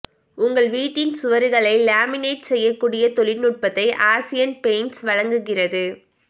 உங்கள் வீட்டின் சுவர்களை லேமினேட் செய்யக்கூடிய தொழில்நுட்பத்தை ஆசியன் பெயிண்ட்ஸ் வழங்குகிறது